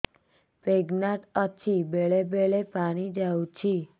pregnant ଅଛି ବେଳେ ବେଳେ ପାଣି ଯାଉଛି